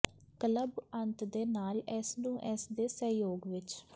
club ਅੰਤ ਦੇ ਨਾਲ ਇਸ ਨੂੰ ਇਸ ਦੇ ਸਹਿਯੋਗ ਵਿਚ